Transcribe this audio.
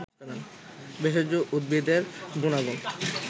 ভেষজ উদ্ভিদের গুনাগুন